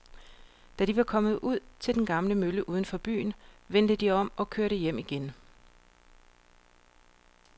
Da de var kommet ud til den gamle mølle uden for byen, vendte de om og kørte hjem igen.